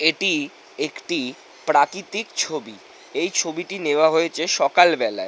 এটি একটি প্রাকৃতিক ছবি। এই ছবিটি নেওয়া হয়েছে সকালবেলায়--